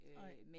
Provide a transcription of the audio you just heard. Nej